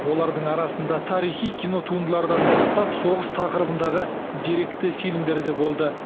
олардың арасында тарихи кино туындылардан бастап соғыс тақырыбындағы деректі фильмдер де болды